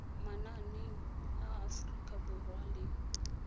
mananeng a aforika borwa le